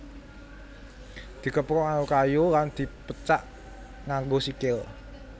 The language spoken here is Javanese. Dikepruk nganggo kayu lan dipecak nganggo sikil